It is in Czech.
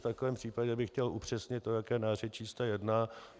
V takovém případě bych chtěl upřesnit, o jaké nářečí se jedná.